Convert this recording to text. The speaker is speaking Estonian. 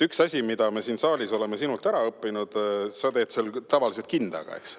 Üks asi, mida me siin saalis oleme sinult õppinud , sa teed seda tavaliselt kindaga, eks.